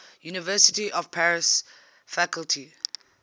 university of paris faculty